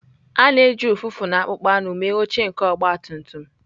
A na-eji ụfụfụ na akpụkpọ anụ mee oche nke ọgbatumtum.